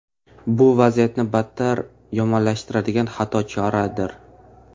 Bu vaziyatni battar yomonlashtiradigan xato choradir.